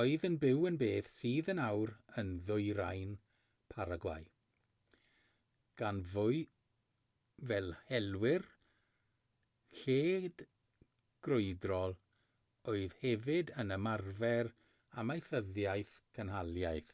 oedd yn byw yn beth sydd yn awr yn ddwyrain paragwai gan fyw fel helwyr lled-grwydrol oedd hefyd yn ymarfer amaethyddiaeth cynhaliaeth